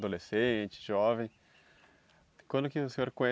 Adolescente, jovem, quando que o senhor